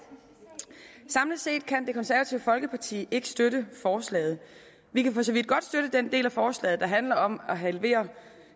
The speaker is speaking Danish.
samlet set kan det konservative folkeparti ikke støtte forslaget vi kan for så vidt godt støtte den del af forslaget der handler om at halvere